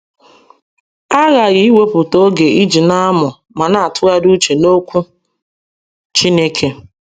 A ghaghị iwepụta oge iji na - amụ ma na - atụgharị uche n’Okwu Chineke.